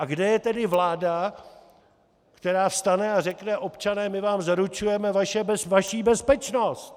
A kde je tedy vláda, která vstane a řekne "občané, my vám zaručujeme vaši bezpečnost"?